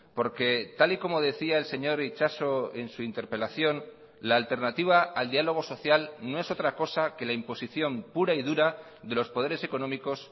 porque tal y como decía el señor itxaso en su interpelación la alternativa al diálogo social no es otra cosa que la imposición pura y dura de los poderes económicos